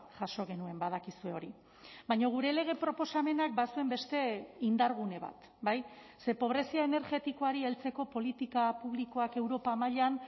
jaso genuen badakizue hori baina gure lege proposamenak bazuen beste indargune bat bai ze pobrezia energetikoari heltzeko politika publikoak europa mailan